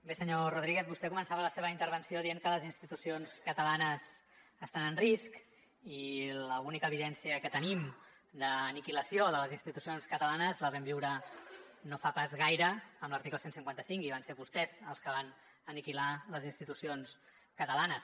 bé senyor rodríguez vostè començava la seva intervenció dient que les institucions catalanes estan en risc i l’única evidència que tenim d’aniquilació de les institucions catalanes la vam viure no fa pas gaire amb l’article cent i cinquanta cinc i van ser vostès els que van aniquilar les institucions catalanes